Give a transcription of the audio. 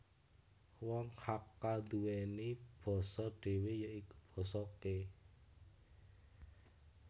Wong Hakka nduweni basa dhewe ya iku Basa Ke